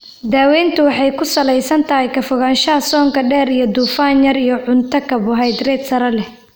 Daaweyntu waxay ku salaysan tahay ka fogaanshaha soonka dheer iyo dufan yar iyo cunto karbohaydrayt sare leh.